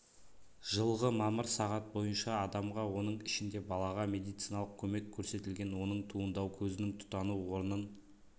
жылғы мамыр сағат бойынша адамға оның ішінде балаға медициналық көмек көрсетілген оның туындау көзінің тұтану орнын